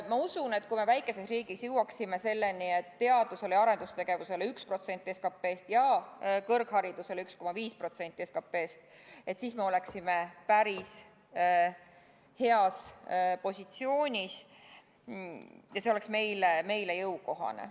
Ma usun, et kui me väikeses riigis jõuaksime selleni, et teadus- ja arendustegevusele antaks 1% ja kõrgharidusele 1,5% SKT-st, siis me oleksime päris heas positsioonis ja see oleks meile jõukohane.